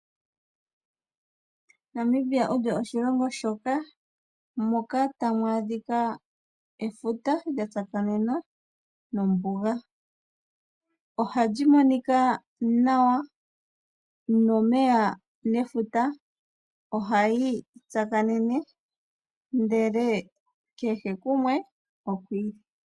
Namibia olyo oshilongo shoka moka tamu adhika efuta lya tsakanena nombuga, ohalyi monika nawa nomeya nefuta ohayi tsakanene ndele kehe kumwe oku ili.